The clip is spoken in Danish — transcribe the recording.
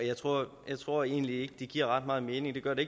jeg tror jeg tror egentlig ikke det giver ret meget mening det gør det